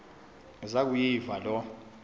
zaku yiva loo